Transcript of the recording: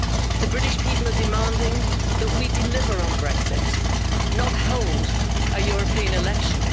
The British people are demanding that we deliver on Brexit, not hold a European election.